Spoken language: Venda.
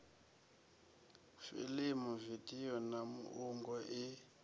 fiḽimu vidio na muungo i